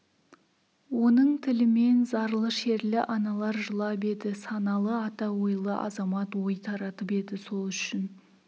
оның тілімен зарлы шерлі аналар жылап еді саналы ата ойлы азамат ой таратып еді сол үшін